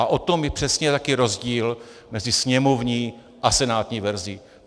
A o tom je přesně ten rozdíl mezi sněmovní a senátní verzí.